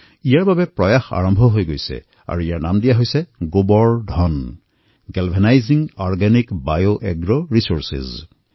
ইয়াৰ বাবে যোজনা আৰম্ভ কৰা হৈছে আৰু ইয়াৰ নাম দিয়া হৈছে Gobardhan galvanising organic bio agro Resources